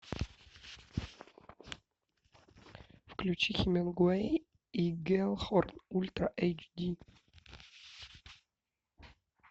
включи хемингуэй и геллхорн ультра эйч ди